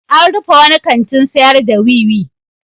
An rufe wani kantin sayar da wiwi.